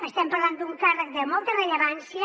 estem parlant d’un càrrec de molta rellevància